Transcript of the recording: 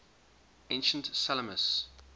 ancient salamis